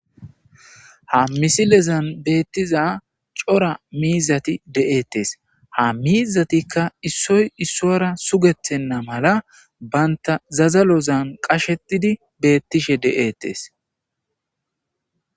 ha misilezan beettiza cora miizati de'eettes. ha miizatikka issoy issora sugethenna mala bantta zadalozan qashetidi beettishe de'eettes